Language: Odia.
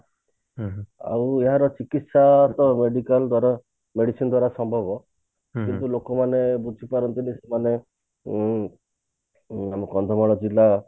ଆଉ ଏହାର ଚିକିତ୍ସା ତ medical ଦ୍ଵାରା medicine ଦ୍ଵାରା ସମ୍ଭବ କିନ୍ତୁ ଲୋକମାନେ ବୁଝି ପାରନ୍ତିନୀ ମାନେ ଉଁ ମାନେ କନ୍ଧମାଳ ଜିଲ୍ଲା ର